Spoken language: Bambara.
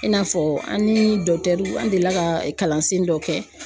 I n'a fɔ an ni an delila ka kalansen dɔ kɛ.